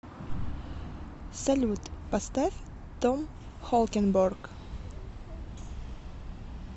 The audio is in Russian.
салют поставь том холкенборг